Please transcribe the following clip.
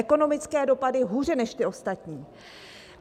Ekonomické dopady: hůře než ty ostatní.